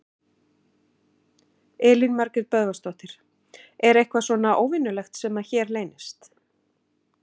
Elín Margrét Böðvarsdóttir: Er eitthvað svona óvenjulegt sem að hér leynist?